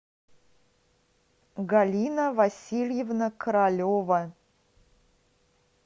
галина васильевна королева